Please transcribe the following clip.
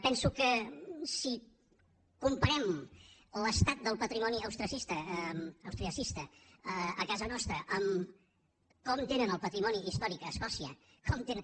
penso que si comparem l’estat del patrimoni austriacista a casa nostra amb com tenen el patrimoni històric a escòcia com tenen